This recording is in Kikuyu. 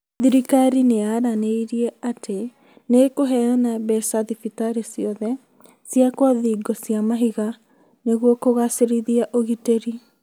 Thirikari nĩĩranĩire atĩ nĩ ĩkũheana mbeca thibitarĩ ciothe ciakwo thingo cia mahiga nĩgwo kugacĩrithia ũgitĩri